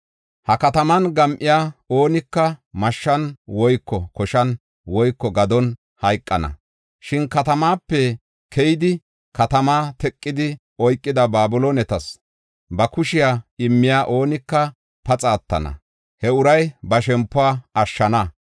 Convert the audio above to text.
Ha kataman gam7iya oonika mashshan woyko koshan woyko gadon hayqana. Shin katamaape keyidi katamaa teqidi oykida Babiloonetas ba kushiya immiya oonika paxa attana; he uray ba shempuwa ashshana.